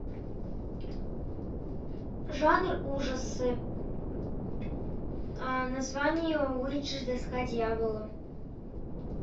жанр ужасы название уиджи доска дьявола